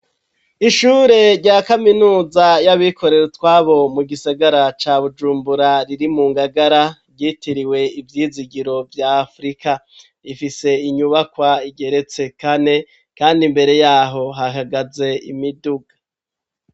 Ishure rya kaminuza y'abikorera utwabo mu gisagara ca Bujumbura riri mu ngagara ryitiriwe ivyizigiro vya afurika, rifise inyubakwa igeretse kane kandi imbere yaho hahagaze imiduga.